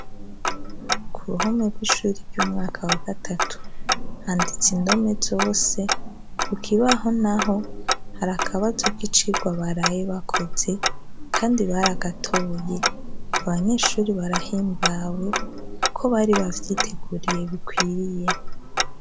Ku ruhome rw'ishure ry'umwaka wa gatatu handitse indome zose, ku kibaho naho hari akabazo k'icigwa baraye bakoze, kandi baragatoye. Abanyeshure barahimbawe, kuko bari bavyiteguriye bikwiye.